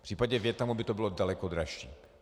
V případě Vietnamu by to bylo daleko dražší.